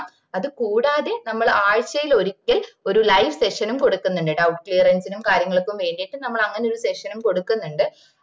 അതുകൂടാതെ നമ്മള് ആഴ്ചയിൽ ഒരിക്കൽ ഒര് live session കൊടുക്കുന്നുണ്ട് doubt clearance ഉം കാര്യങ്ങൾക്കും വേണ്ടീട്ടും നമ്മള് അങ്ങനെ ഒര് session കൊടുക്കുന്നുണ്ട്